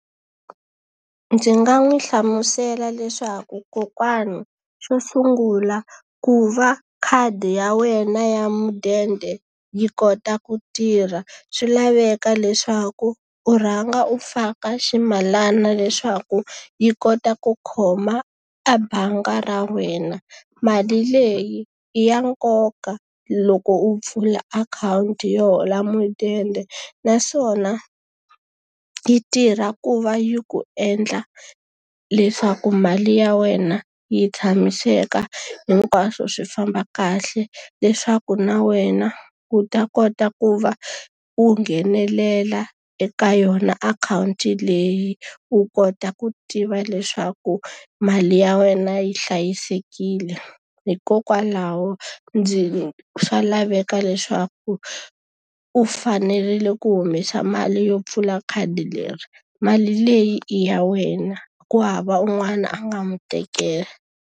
Ndzi nga n'wi hlamusela leswaku kokwana, xo sungula ku va khadi ya wena ya mudende yi kota ku tirha swi laveka leswaku u rhanga u faka ximalana leswaku yi kota ku khoma a bangi ra wena. Mali leyi i ya nkoka loko u pfula akhawunti yo hola mudende. Naswona yi tirha ku va yi ku endla leswaku mali ya wena yi tshamiseka hinkwaswo swi famba kahle. Leswaku na wena u ta kota ku va u nghenelela eka yona akhawunti leyi, u kota ku tiva leswaku mali ya wena yi hlayisekile. Hikokwalaho ndzi swa laveka leswaku u fanerile ku humesa mali yo pfula khadi leri. Mali leyi i ya wena ku hava un'wana a nga n'wi tekela.